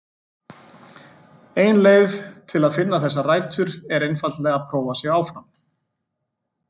Ein leið til að finna þessar rætur er einfaldlega að prófa sig áfram.